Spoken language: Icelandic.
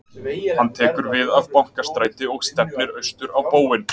hann tekur við af bankastræti og stefnir austur á bóginn